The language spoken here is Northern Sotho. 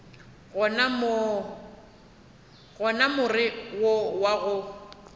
gona more wo wa go